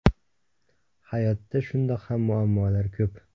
Hayotda shundoq ham muammolar ko‘p.